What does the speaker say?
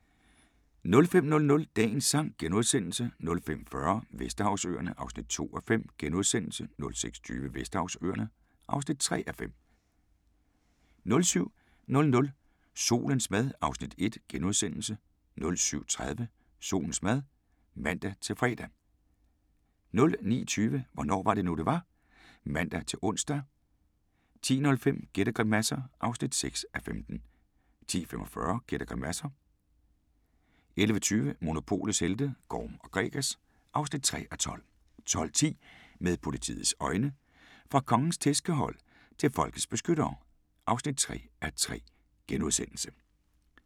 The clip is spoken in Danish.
05:00: Dagens sang * 05:40: Vesterhavsøerne (2:5)* 06:20: Vesterhavsøerne (3:5) 07:00: Solens mad (Afs. 1)* 07:30: Solens mad (man-fre) 09:20: Hvornår var det nu, det var? (man-ons) 10:05: Gæt og grimasser (6:15) 10:45: Gæt og grimasser 11:20: Monopolets helte - Gorm & Gregers (3:12) 12:10: Med politiets øjne: Fra Kongens tærskehold til folkets beskyttere (3:3)*